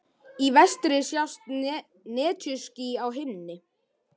Í vestri sjást netjuský á himni.